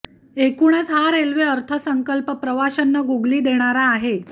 एकूणच हा रेल्वे अर्थसंकल्प प्रवाशांना गुगली देणारा आहे